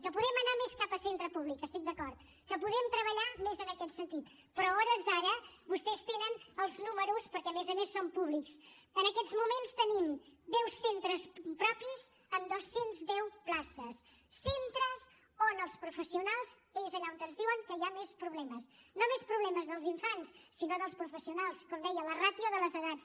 que podem anar més cap a centre públic hi estic d’acord que podem treballar més en aquest sentit però a hores d’ara vostès tenen els números perquè a més a més són públics en aquests moments tenim deu centres propis amb dos cents i deu places centres on els professionals és allà on ens diuen que hi ha més problemes no més problemes dels infants sinó dels professionals com deia la ràtio de les edats